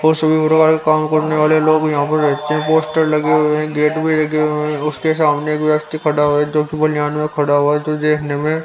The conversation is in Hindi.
काम कर ने वाले लोग यहाँ पर पोस्टर लगे हुए है गेट भी लगे हुए है उसके सामने एक व्यक्ति खड़ा है जो जो देख ने में --